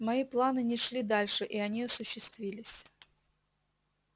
мои планы не шли дальше и они осуществились